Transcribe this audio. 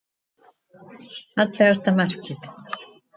Fallegasta markið.